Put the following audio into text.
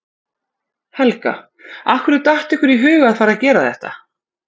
Helga: Af hverju datt ykkur í hug að fara að gera þetta?